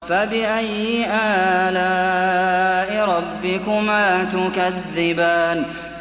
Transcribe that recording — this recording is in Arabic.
فَبِأَيِّ آلَاءِ رَبِّكُمَا تُكَذِّبَانِ